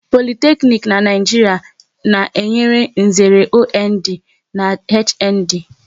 Politeknic n'Naijiria na-enye nzere OND na HND